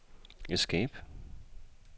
escape